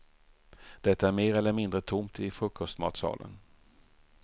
Det är mer eller mindre tomt i frukostmatsalen.